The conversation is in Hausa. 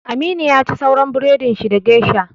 Aminu yaci sauran burodin shi da geisha